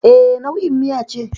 E, nau'in miya ce.